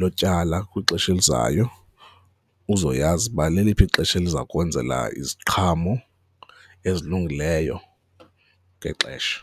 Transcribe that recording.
lokutyala kwixesha elizayo uzoyazi uba leliphi ixesha eliza kwenzela iziqhamo ezilungileyo ngexesha.